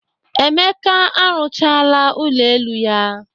Emeka arụchaala ụlọ elu ya.